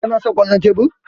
Kana son kwallon tebur?